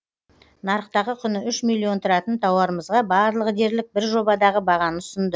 нарықтағы құны үш миллион тұратын тауарымызға барлығы дерлік бір жобадағы бағаны ұсынды